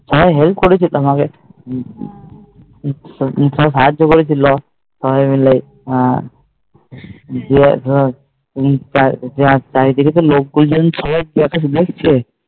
সবাই help করেছে তোমাকে সবাই সাহায্য করেছিল হম চারিদিকে তো লোকজন দেখছে